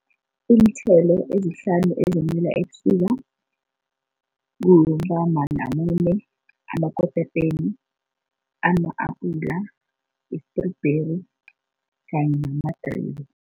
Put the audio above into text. Iinthelo ezihlanu ezimila ebusika amakotapeni, ama-apula, i-strawberry kanye namadribe.